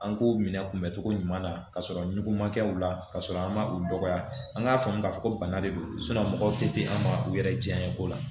An k'o minɛ kunbɛ cogo ɲuman na ka sɔrɔ ɲuguma kɛ u la ka sɔrɔ an ma u dɔgɔya an k'a faamu k'a fɔ ko bana de don mɔgɔw tɛ se an ma u yɛrɛ diyaɲe ko la